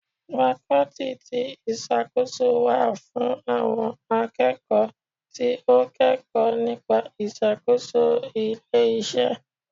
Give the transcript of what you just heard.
Fakọ́tì ti ìṣàkóso wà fún àwọn akẹ́kọ̀ọ́ tí ó kẹkọ̀ọ́ nípa ìṣàkóso ilé iṣẹ́.